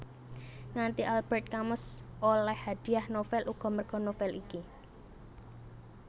Nganti Albert Camus oleh hadiah novel uga merga novel iki